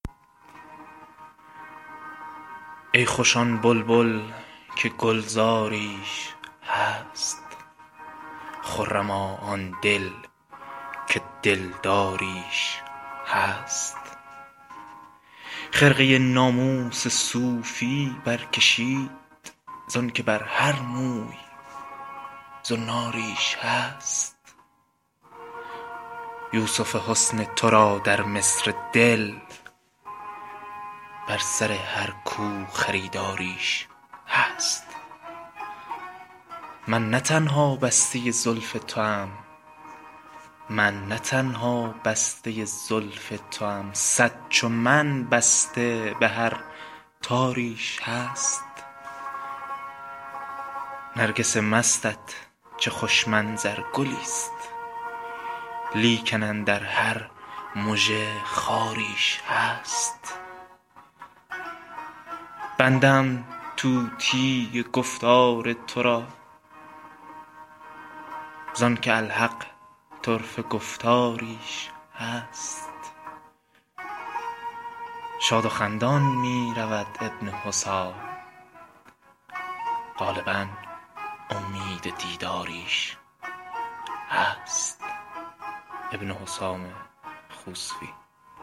ای خوش آن بلبل که گلزاریش هست خرما آن دل که دلداریش هست خرقه ناموس صوفی برکشید زان که بر هر موی زناریش هست یوسف حسن تو را در مصر دل بر سر هر کو خریداریش هست من نه تنها بسته زلف توام صد چو من بسته به هر تاریش هست نرگس مستت چه خوش منظر گلی ست لیکن اندر هر مژه خاریش هست بنده ام طوطی گفتار ترا زانکه الحق طرفه گفتاریش هست شاد و خندان می رود ابن حسام غالبا امید دیداریش هست